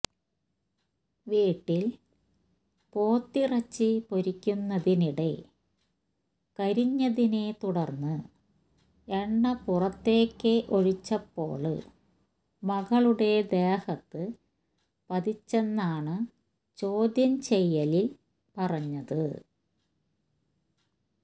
വീട്ടില് പോത്തിറച്ചി പൊരിക്കുന്നതിനിടെ കരിഞ്ഞതിനെ തുടര്ന്ന് എണ്ണ പുറത്തേക്കൊഴിച്ചപ്പോള് മകളുടെ ദേഹത്ത് പതിച്ചെന്നാണ് ചോദ്യം ചെയ്യലില് പറഞ്ഞത്